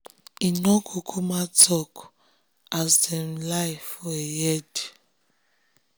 im nor kukuma talk um as dem lie for im head